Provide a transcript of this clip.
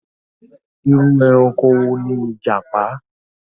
Irú ẹranko ni ìjàpá?